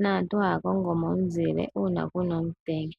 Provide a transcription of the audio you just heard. naantu haya kongo mo omuzile uuna ku na omutenya.